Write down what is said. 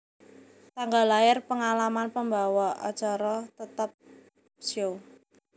Tanggal lair Pengalaman pembawa acara tetap Show